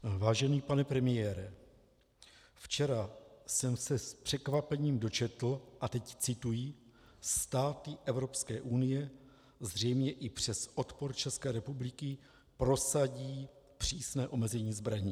Vážený pane premiére, včera jsem se s překvapením dočetl - a teď cituji: "Státy Evropské unie zřejmě i přes odpor České republiky prosadí přísné omezení zbraní."